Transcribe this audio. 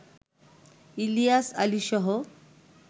Ilias আলীসহ